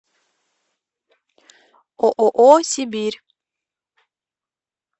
ооо сибирь